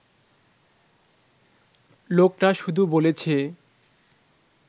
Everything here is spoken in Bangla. লোকটা শুধু বলেছে